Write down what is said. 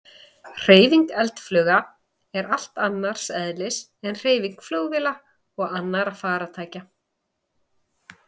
Hreyfing eldflauga er allt annars eðlis en hreyfing flugvéla eða annarra farartækja.